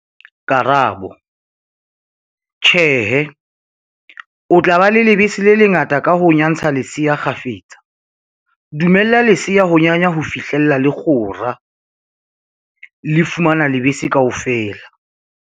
Karabo- Tjhe, o tla ba le lebese le le ngata ka ho nyantsa lesea kgafetsa. Dumella lesea ho nyanya ho fihlela le kgora, le fumana lebese kaofela.